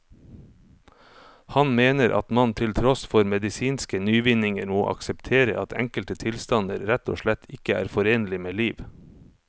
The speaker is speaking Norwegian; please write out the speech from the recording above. Han mener at man til tross for medisinske nyvinninger må akseptere at enkelte tilstander rett og slett ikke er forenlig med liv.